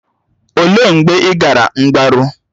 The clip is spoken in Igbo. Olee mgbe ị gara mgbaru?